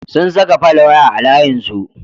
Sun saka folwaya a layinsu.